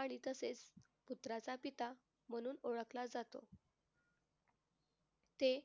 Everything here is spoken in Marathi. आणि तसेच पुत्राचा पिता म्हणून ओळखला जातो. ते